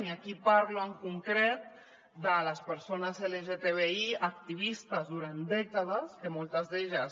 i aquí parlo en concret de les persones lgtbi activistes durant dècades que moltes d’elles